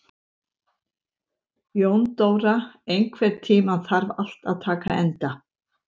Jóndóra, einhvern tímann þarf allt að taka enda.